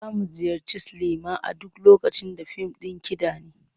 Za mu ziyarci silima a duk lokacin da fim ɗin kiɗa ne.